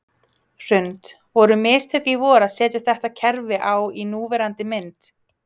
Hrund: Voru mistök í vor að setja þetta kerfi á í núverandi mynd?